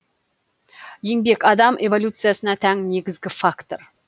еңбек адам эволюциясына тән негізгі фактор